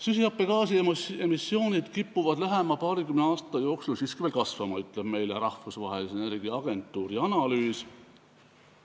Süsihappegaasi emissioonid kipuvad lähema paarikümne aasta jooksul siiski veel kasvama, ütleb meile Rahvusvahelise Energiaagentuuri analüüs.